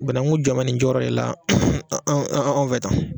Bananku jɔmɛ nin jɔyɔrɔ de la anw anw fɛ tan